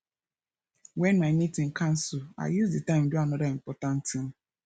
when my meeting cancel i use the time do another important thing